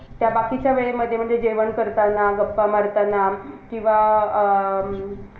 जा UPSC खुप stuff ये म्हणून अर्ध्याच्या वरती लोक पोरं MPSC कडे वळतात जेणेकरून त्यांना असं न्यूनगंड असतो की